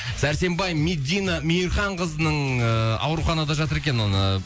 сәрсенбай медина мейірханқызының ыыы ауруханада жатыр екен оны